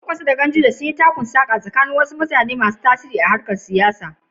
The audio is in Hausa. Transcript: Kwankwaso da Ganduje, tsoffin ƴan siyasa, sun yi takun-saƙa tsakanin jama’a da suka yi tasiri a harkar siyasarsu.